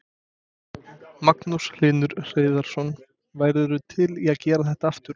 Magnús Hlynur Hreiðarsson: Værirðu til í að gera þetta aftur?